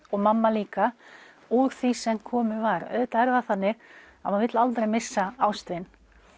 og mamma líka úr því sem komið var auðvitað er það þannig að maður vill aldrei missa ástvin